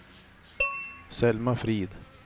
Selma Frid